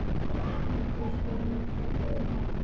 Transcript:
Mikill friður yfir honum.